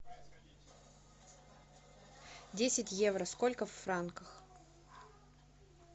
десять евро сколько в франках